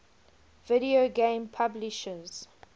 video game publishers